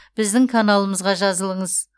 біздің каналымызға жазылыңыз